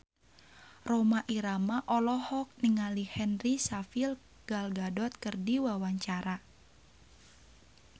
Rhoma Irama olohok ningali Henry Cavill Gal Gadot keur diwawancara